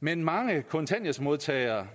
men mange kontanthjælpsmodtagere